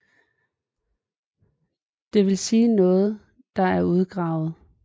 Det vil sige noget der er udgravet